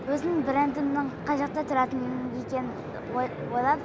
өзімнің брендімнің қай жақта тұратын екенін ойлап